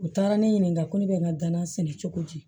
U taara ne ɲininka ko ne bɛ n ka dana sɛnɛ cogo di